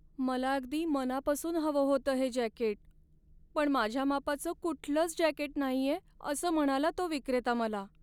मला अगदी मनापासून हवं होतं हे जॅकेट, पण माझ्या मापाचं कुठलंच जॅकेट नाहीये असं म्हणाला तो विक्रेता मला.